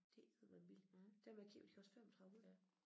Det eddermaneme billigt dem jeg kiggede på de kostede 3500